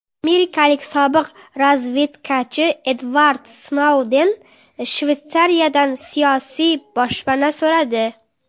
Amerikalik sobiq razvedkachi Edvard Snouden Shveysariyadan siyosiy boshpana so‘radi.